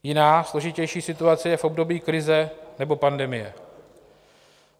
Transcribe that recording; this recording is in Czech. Jiná, složitější situace je v období krize nebo pandemie.